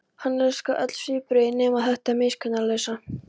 Hann elskaði öll svipbrigðin nema þetta miskunnarlausa.